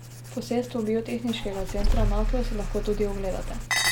Posestvo Biotehniškega centra Naklo si lahko tudi ogledate.